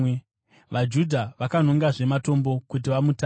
VaJudha vakanongazve matombo kuti vamutake,